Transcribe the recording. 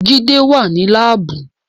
Jide wà ní Láàbù